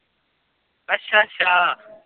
ਅੱਛਾ ਅੱਛਾ।